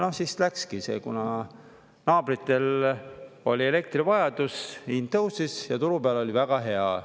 Siis läkski, kuna naabritel oli elektri vajadus, hind tõusis ja turu peal oli väga hea.